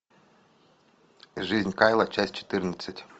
жизнь кайла часть четырнадцать